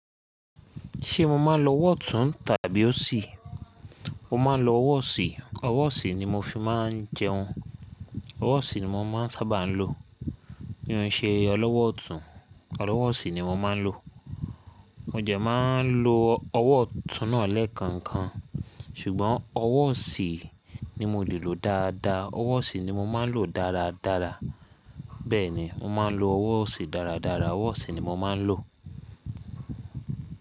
Ṣé mo máa ń lo ọwọ́ ọ̀tún tàbí ósì? Mo máa ń lo ọwọ́ ọ̀sì, ọwọ́ ọ̀sì ni mo fi máa ń jẹun. Ọwọ́ ọ̀sì ni mo máa ń sábà lò. Mí mo ń ṣe ọlọ́wọ́ ọ̀tún ọlọ́wọ́ ọ̀sì ni mo máa ń lò. Mo dẹ̀ máa ń lo ọwọ́ ọ̀tún náà lẹ́ẹ̀kọ̀kan ṣùgbọ́n ọwọ́ ọ̀sì ni mo lè lò dáadáa. Ọwọ́ ọ̀sì ni mo máa ń lò dáradára. Bẹ́ẹ̀ni, mo máa ń lo ọwọ́ ọ̀sì dáradára. Ọwọ́ ọ̀sì ni mo máa ń lò.